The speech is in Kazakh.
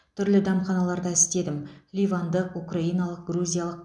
түрлі дәмханаларда істедім ливандық украиналық грузиялық